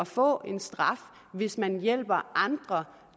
få en straf hvis man hjælper andre